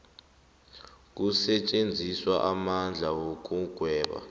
kusetjenziswe amandla wokugweba